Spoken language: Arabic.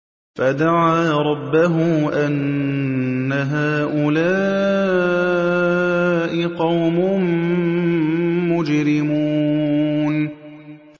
فَدَعَا رَبَّهُ أَنَّ هَٰؤُلَاءِ قَوْمٌ مُّجْرِمُونَ